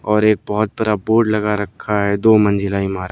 और एक बहोत बरा बोर्ड लगा रखा है दो मंजिला इमारत--